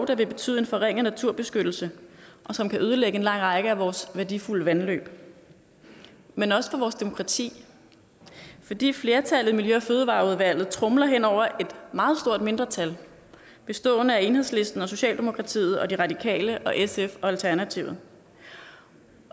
der vil betyde en forringet naturbeskyttelse og som kan ødelægge en lang række af vores værdifulde vandløb men også for vores demokrati fordi flertallet i miljø og fødevareudvalget tromler hen over et meget stort mindretal bestående af enhedslisten socialdemokratiet og de radikale sf og alternativet